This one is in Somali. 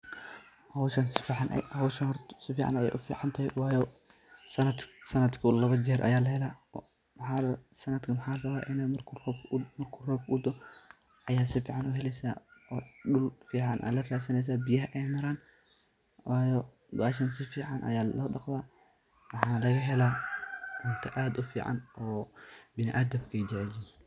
Hooshan sufican Aya u ficantahay, wayo santki lawa jeer Aya laheelah, santkan mxaa la rabah inu marku roob u daaho Aya sufican u heeleysah, oo duul fican Aya la ratsaneysah, biyahay ay maran waayo hooshan sufican Aya lo daqtah, mxalagahelah cuunta aad u fican oo binaadam AA jaceelyahin.